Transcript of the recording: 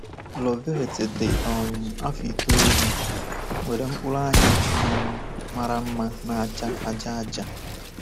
Loveth, dị um afọ itoolu, nwere mkpụrụ anya um mara mma na-acha aja-aja.